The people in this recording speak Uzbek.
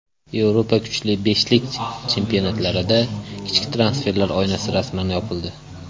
Yevropa kuchli beshlik chempionatlarida qishki transferlar oynasi rasman yopildi.